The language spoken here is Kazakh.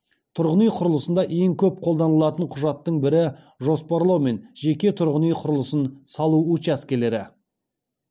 тұрғын үй құрылысында ең көп қолданылатын құжаттың бірі жоспарлау мен жеке тұрғын үй құрылысын салу учаскелері